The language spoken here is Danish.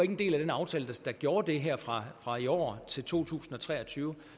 en del af den aftale der gjorde det her fra fra i år til to tusind og tre og tyve